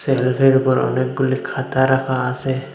সেল্ফের উপর অনেকগুলি খাতা রাখা আসে।